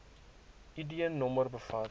id nommer bevat